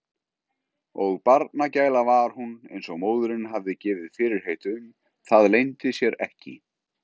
Og barnagæla var hún eins og móðirin hafði gefið fyrirheit um, það leyndi sér ekki.